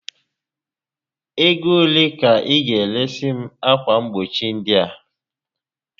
Ego ole ka ị ga eresi m akwa mgbochi ndị a?